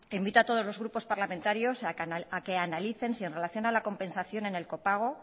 invito a todos los grupos parlamentarios a que analicen si en relación a la compensación en el copago